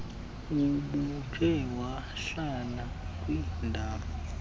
ubukhe wahlala kwindaw